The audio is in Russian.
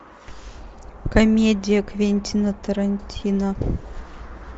комедия квентина тарантино